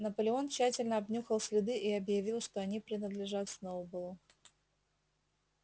наполеон тщательно обнюхал следы и объявил что они принадлежат сноуболлу